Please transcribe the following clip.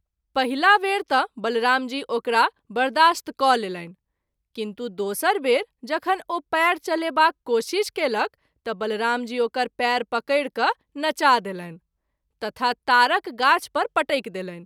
पहिला वेर त’ बलराम जी ओकरा बर्दाश्त क’ लेलनि, किन्तु दोसर बेर जखन ओ पैर चलेबाक कोशिश कएलक त’ बलराम जी ओकर पैर पकैरि क’नचा देलनि तथा तारक गाछ पर पटकि देलनि।